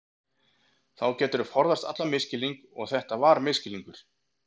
Þá geturðu forðast allan misskilning og þetta var misskilningur.